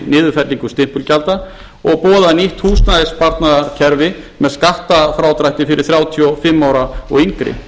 niðurfellingu stimpilgjalda og boðað nýtt húsnæðissparnaðarkerfi með skattafrádrætti fyrir þrjátíu og fimm ára og yngri